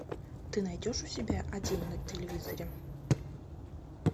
ты найдешь у себя один на телевизоре